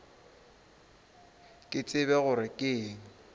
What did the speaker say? ke tsebe gore ke eng